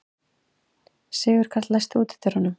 Sigurkarl, læstu útidyrunum.